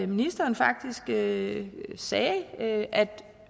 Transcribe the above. ministeren faktisk sagde sagde at